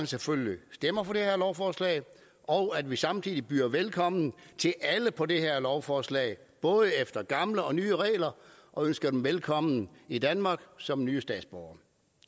selvfølgelig stemmer for det her lovforslag og at vi samtidig byder velkommen til alle på det her lovforslag både efter de gamle og nye regler og ønsker dem velkommen i danmark som nye statsborgere